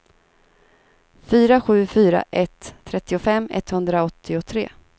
fyra sju fyra ett trettiofem etthundraåttiotre